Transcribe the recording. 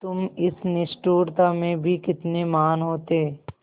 तुम इस निष्ठुरता में भी कितने महान् होते